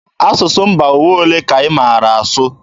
Asụsụ mba ụwa olee ka ị maara asụ?